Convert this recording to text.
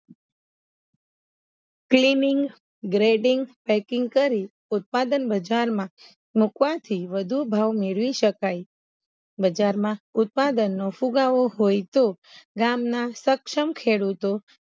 cleaning grading packing કરી ઉત્પાદન બજારમાં મુકવાથી વધુ ભાવ મેળવી સકાય બજારમાં ઉત્પાદન નો ફુગાવો હોઈ તો રામના સક્ષમ ખેડૂતો